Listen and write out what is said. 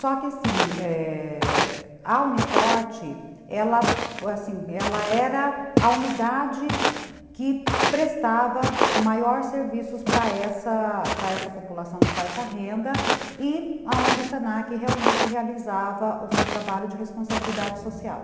Só que, sim, a... Uni Forte, ela era a unidade que prestava maiores serviços para apra essa população de baixa renda e onde o Senac realmente realizava o seu trabalho de responsabilidade social.